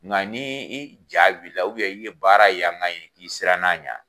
Nka ni i ja wulila i ye baara yanga ye i sirann'a ɲɛ